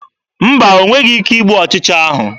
Mba, o nweghị ike igbu ọchịcha ahụ.